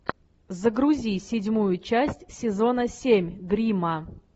загрузи седьмую часть сезона семь гримма